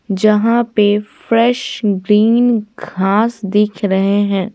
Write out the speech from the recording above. जहां पे fresh green घास दिख रहे हैं।